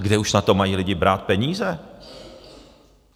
A kde už na to mají lidi brát peníze?